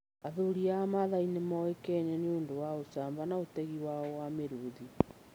Athuri a Maathai nĩ moĩkaine nĩ ũndũ wa ũcamba na ũtegi wao wa mĩrũũthi.